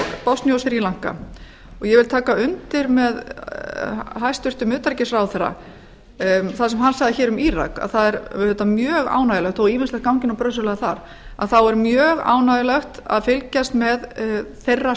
og sri lanka ég vil taka undir með hæstvirtum utanríkisráðherra um það sem hann sagði hér um írak það er auðvitað mjög ánægjulegt þó ýmislegt gangi nú brösuglega þar að þá er mjög ánægjulegt að fylgjast með þeirra